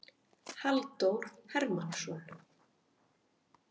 Halldór Hermannsson.